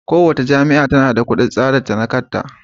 Kowace jami'a tana da kudin tsarinta na kanta.